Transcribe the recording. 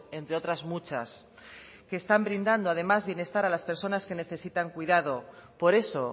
entre otras muchas que están brindando además bienestar a las personas que necesitan cuidado por eso